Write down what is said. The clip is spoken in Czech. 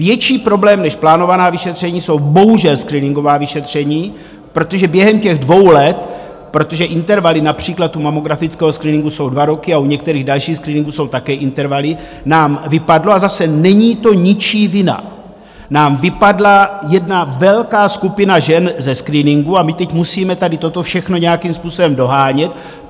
Větší problém než plánovaná vyšetření jsou bohužel screeningová vyšetření, protože během těch dvou let, protože intervaly například u mammografického screeningu jsou dva roky a u některých dalších screeningů jsou také intervaly, nám vypadla - a zase, není to ničí vina - nám vypadla jedna velká skupina žen ze screeningu a my teď musíme tady toto všechno nějakým způsobem dohánět.